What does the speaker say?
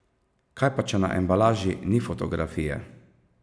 Kaj pa če na embalaži ni fotografije?